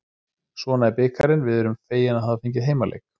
Svona er bikarinn, við erum fegin að hafa fengið heimaleik.